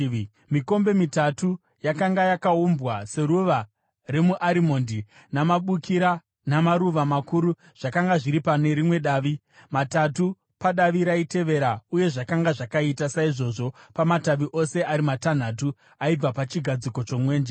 Mikombe mitatu yakanga yakaumbwa seruva remuarimondi namabukira namaruva makuru zvakanga zviri pane rimwe davi, matatu padavi raitevera uye zvakanga zvakaita saizvozvo pamatavi ose ari matanhatu aibva pachigadziko chomwenje.